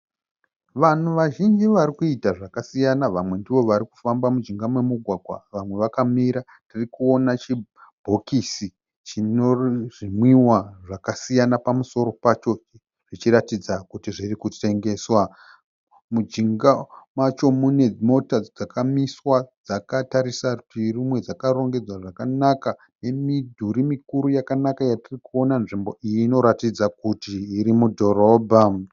Vanhu vazhinji vari kuita zvakasiyana. Vamwe ndivo vari kufamba mujinga momugwagwa, vamwe vakamira. Tiri kuona chibhokisi chino zvinwiwa zvakasiyana pamusoro pacho zvichiratidza kuti zviri kutengeswa. Mujinga macho mune mota dzakamiswa dzakatarisa rutivi rumwe dzakarongedzwa zvakanaka nemidhuri mikuru yakanaka yatiri kuona. Nzvimbo iyi inoratidza kuti iri mudhorobha.